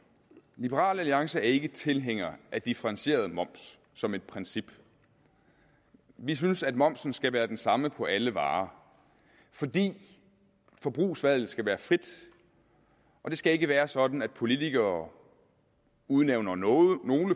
i liberal alliance er vi ikke tilhængere af differentieret moms som et princip vi synes at momsen skal være den samme på alle varer fordi forbrugsvalget skal være frit det skal ikke være sådan at politikere udnævner nogle